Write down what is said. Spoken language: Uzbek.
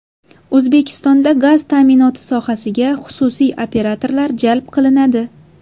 O‘zbekistonda gaz ta’minoti sohasiga xususiy operatorlar jalb qilinadi.